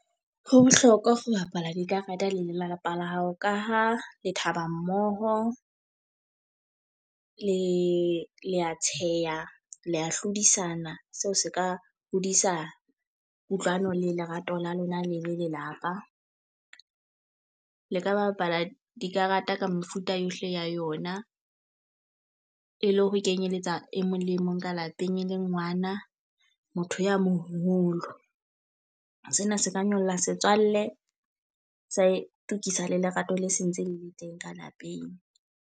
Ho bohlokwa ho bapala dikarata le lelapa la hao. Ka ho le thaba mmoho le le a tsheha le ya hlodisana. Seo se ka hodisa kutlwano le lerato la lona le le lelapa. Le ka bapala dikarata ka mefuta yohle ya yona. E le ho kenyeletsa e mong le mong ka lapeng e leng ngwana, motho ya moholo. Sena se ka nyolla setswalle sa itokisa le lerato le sentse le le teng ka lapeng.